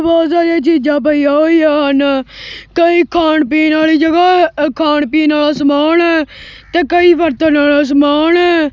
ਬਹੁਤ ਸਾਰੀਆਂ ਚੀਜਾਂ ਪਈਆਂ ਹੋਈਆਂ ਹਨ ਕਈ ਖਾਣ ਪੀਣ ਵਾਲੀ ਜਗਾ ਐ ਇਹ ਖਾਣ ਪੀਣ ਵਾਲਾ ਸਮਾਨ ਐ ਤੇ ਕਈ ਵਰਤਨ ਵਾਲਾ ਸਮਾਨ ਐ।